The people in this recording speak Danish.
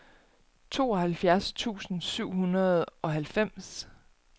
tooghalvfjerds tusind syv hundrede og halvfems